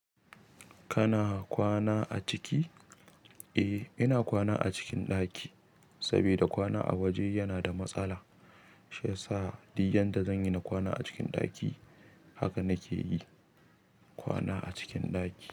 Kana kwana a ciki? Eh, ina kwana a cikin ɗaki, saboda kwana a waje yana da matsala. Shiyasa dik yadda zan yi na kwana a cikin ɗaki, haka nake yi, kwana a cikin ɗaki.